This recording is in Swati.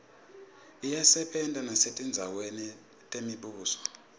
iyasebenta nesetindzaweni temibuso